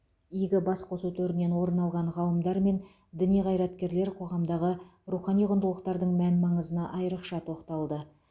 игі басқосу төрінен орын алған ғалымдар мен діни қайраткерлер қоғамдағы рухани құндылықтардың мән маңызына айрықша тоқталды